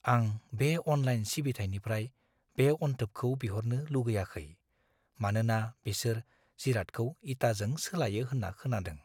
आं बे अनलाइन सिबिथाइनिफ्राय बे अनथोबखौ बिहरनो लुगैआखै, मानोना बेसोर जिरादखौ इटाजों सोलायो होन्ना खोनादों।